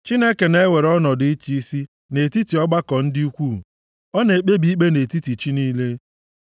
Chineke na-ewere ọnọdụ ịchị isi nʼetiti ọgbakọ dị ukwuu; ọ na-ekpebi ikpe nʼetiti chi niile.